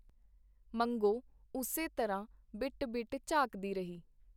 ਮੰਗੋ ਉਸੇ ਤਰ੍ਹਾਂ ਬਿਟ ਬਿਟ ਝਾਕਦੀ ਰਹੀ.